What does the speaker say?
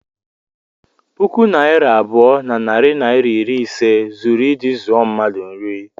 puku naịra abụọ na narị naịra iri ise zuru iji zụọ mmadu nri